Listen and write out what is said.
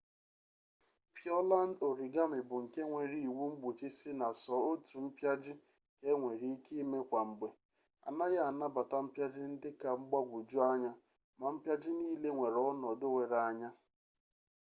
pịọland origami bụ nke nwere iwu mgbochi sị na sọ otu mpịaji ka enwere ike ime kwa mgbe anaghị anabata mpịaji ndị ka mgbagwoju anya ma mpịaji nile nwere ọnọdụ were anya